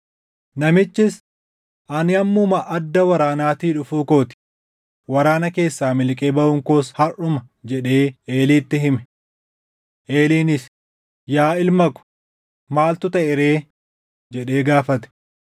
Namichis, “Ani ammuma adda waraanaatii dhufuu koo ti; waraana keessaa miliqee baʼuun koos harʼuma” jedhee Eeliitti hime. Eeliinis, “Yaa ilma ko, maaltu taʼe ree?” jedhee gaafate.